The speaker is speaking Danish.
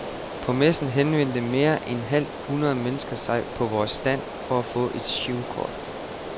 På messen henvendte mere end et halvt hundrede mennesker sig på vores stand for at få et girokort.